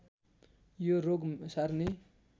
यो रोग सार्ने